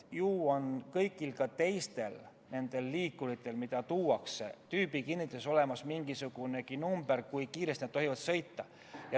Ju on ka kõigil teistel liikuritel, millega välja tullakse, tüübikinnituses olemas mingisugune number selle kohta, kui kiiresti nad tohivad sõita.